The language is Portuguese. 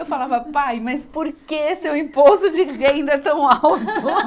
Eu falava, pai, mas por que seu imposto de renda é tão alto?